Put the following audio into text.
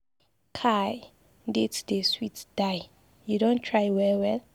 Kai dates dey sweet die. You don try well well.